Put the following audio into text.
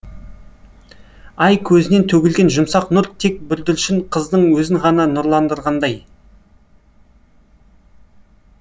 ай көзінен төгілген жұмсақ нұр тек бүрдіршін қыздың өзін ғана нұрландырғандай